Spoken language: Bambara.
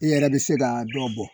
E yɛrɛ bɛ se ka dɔ bɔ